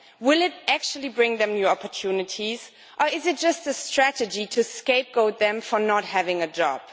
Will it actually bring them new opportunities or is it just a strategy to scapegoat them for not having a job?